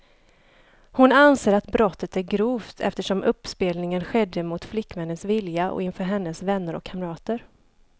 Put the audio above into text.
Hon anser att brottet är grovt, eftersom uppspelningen skedde mot flickvännens vilja och inför hennes vänner och kamrater.